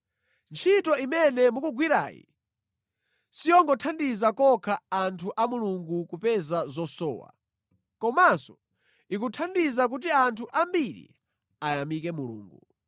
Ntchito imene mukugwirayi siyongothandiza kokha anthu a Mulungu kupeza zosowa, komanso ikuthandiza kuti anthu ambiri ayamike Mulungu.